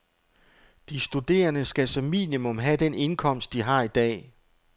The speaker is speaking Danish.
De studerende skal som minimum have den indkomst, de har i dag.